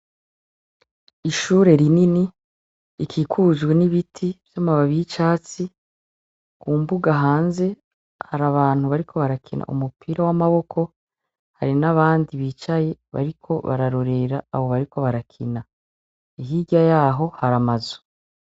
Iahure rinini rikikujwe nibiti namababi yicatsi ku mbuga hanze hari abantu bariko barakina umupira wamaboko hari n'abandi bicaye bariko bararorera abo bakinyi bariko barakina hirya yaho hari amazu.